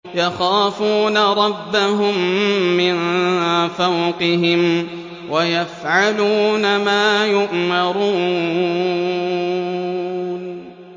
يَخَافُونَ رَبَّهُم مِّن فَوْقِهِمْ وَيَفْعَلُونَ مَا يُؤْمَرُونَ ۩